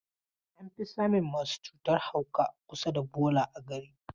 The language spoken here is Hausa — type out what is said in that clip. An fi samun masu cutan hauka a kusa da bola a gari.